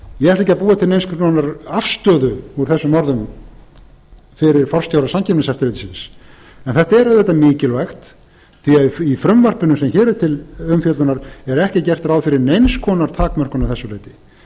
ég ætla ekki að búa til neins konar afstöðu úr þessum orðum fyrir forstjóra samkeppniseftirlitsins en þetta er auðvitað mikilvægt því í frumvarpinu sem hér er til umfjöllunar er ekki gert ráð fyrir neins konar takmörkun að þessu leyti breytingartillögur